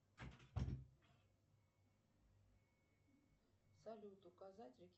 салют указать